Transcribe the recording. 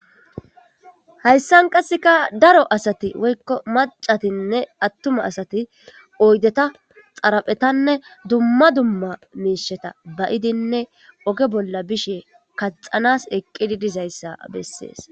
hayssan qasseka daro asati woykko macatinne attuma asati oydeta xaraphetanne dumma dumma miisheta bayidinne oge bolla bishe kaxanas eqqidi dizayssa bessees.